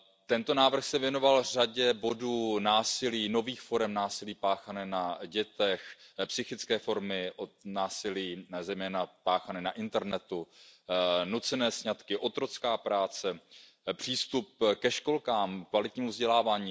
Tento návrh se věnoval řadě bodů, násilí, novým formám násilí páchaného na dětech, psychickým formám násilí, zejména páchaným na internetu, nuceným sňatkům, otrocké práci, přístupu ke školkám, kvalitnímu vzdělávání.